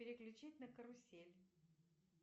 переключить на карусель